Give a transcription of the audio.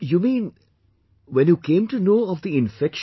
You mean when you came to know of the infection